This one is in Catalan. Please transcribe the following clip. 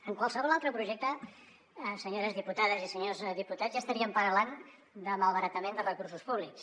en qualsevol altre projecte senyores diputades i senyors diputats ja estaríem parlant de malbaratament de recursos públics